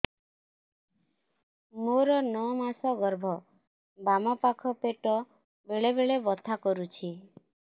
ମୋର ନଅ ମାସ ଗର୍ଭ ବାମ ପାଖ ପେଟ ବେଳେ ବେଳେ ବଥା କରୁଛି